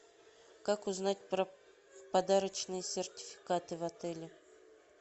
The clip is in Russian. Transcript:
как узнать про подарочные сертификаты в отеле